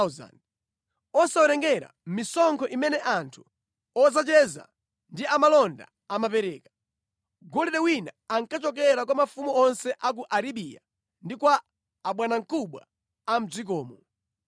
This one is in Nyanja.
osawerengera misonkho imene anthu odzacheza ndi amalonda amapereka. Golide wina ankachokera kwa mafumu onse a ku Arabiya ndi kwa abwanamkubwa a mʼdzikomo.